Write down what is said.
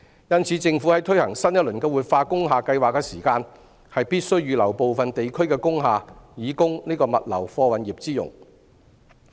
因此，政府在推行新一輪的活化工廈計劃時，必須預留部分地區的工廈以供物流貨運業之用。